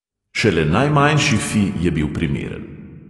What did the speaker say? Šele najmanjši fi je bil primeren.